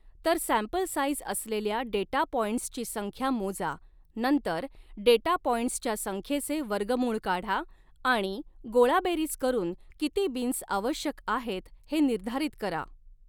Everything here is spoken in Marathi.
तर सॅम्पल साईझ असलेल्या डेटा पॉइंट्सची संख्या मोजा नंतर डेटा पॉइंट्सच्या संख्येचे वर्गमुळ काढा आणि गोळाबेरीज करुन किती बिन्स आवश्यक आहेत हे निर्धारित करा.